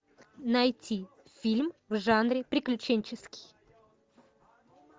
найти фильм в жанре приключенческий